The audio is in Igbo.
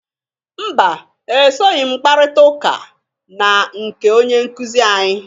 Mba! Esoghi m kparịta ụka na nke onye nkụzị anyị.